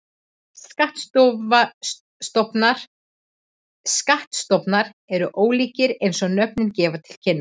Skattstofnar voru ólíkir eins og nöfnin gefa til kynna.